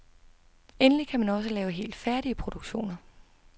Endelig kan man også lave helt færdige produktioner.